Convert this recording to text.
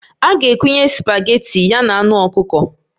A ga-ekunye spageti ya na anụ ọkụkọ